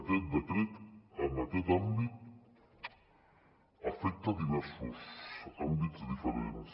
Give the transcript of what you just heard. aquest decret en aquest àmbit afecta diversos àmbits diferents